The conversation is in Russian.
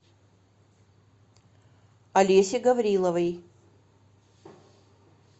олесе гавриловой